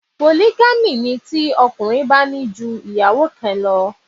Polygamy' ni tí ọkùnrin bá ní ju ìyàwó kan lọ